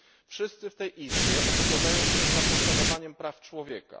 Wszyscy w tej Izbie opowiadają się za poszanowaniem praw człowieka.